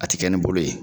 A ti kɛ ni bolo ye